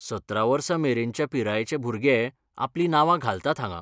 सतरा वर्सां मेरेनच्या पिरायेचे भुरगे आपलीं नावां घालतात हांगां.